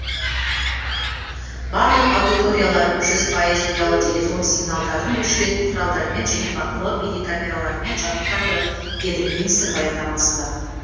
барлық аудиториялар жүз пайыз ұялы телефон сигналдарын өшіретін құралдармен және бақылау бейнекамераларымен жабдықталды деді министр баяндамасында